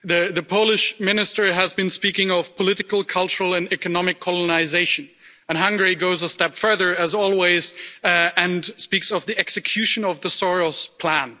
The Polish minister has been speaking of political, cultural and economic colonisation, and Hungary goes a step further, as always, and speaks of the execution of the Soros plan.